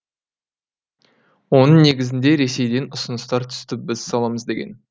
оның негізінде ресейден ұсыныстар түсті біз саламыз деген